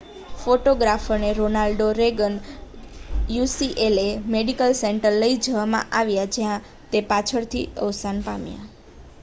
ફોટોગ્રાફરને Ronald Reagan UCLA medical સેન્ટરમાં લઈ જવામાં આવ્યા જ્યાં તે પાછળથી અવસાન પામ્યા